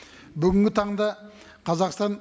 бүгінгі таңда қазақстан